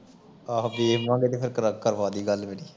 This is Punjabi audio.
ਆਹੋ ਵੀਰ ਨਾਲ ਫੇਰ ਕਰਵਾ ਦੀ ਗੱਲ ਮੇਰੀ